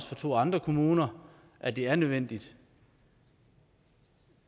fra to andre kommuner at det er nødvendigt